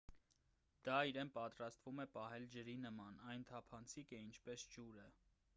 դա իրեն պատրաստվում է պահել ջրի նման այն թափանցիկ է ինչպես ջուրը